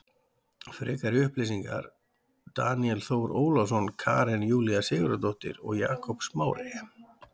Frekari upplýsingar Daníel Þór Ólason Karen Júlía Sigurðardóttir og Jakob Smári.